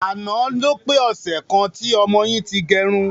Àná ló pé ọsẹ̀ kan tí ọmọ yìí ti gẹrun.